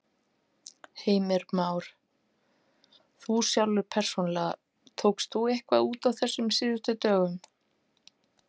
Heimir Már: Þú sjálfur persónulega, tókst þú eitthvað út á þessum síðustu dögum?